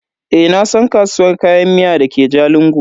Eh nasan kasuwar Kayan miya dake jalingo.